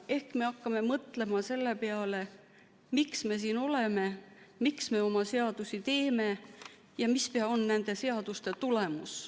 Ehk me hakkame mõtlema selle peale, miks me siin oleme, miks me oma seadusi teeme ja mis on nende seaduste tulemus.